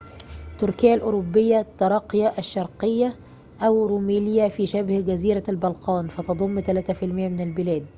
تركيا الأوروبية تراقيا الشرقية أو روميليا في شبه جزيرة البلقان فتضم 3% من البلاد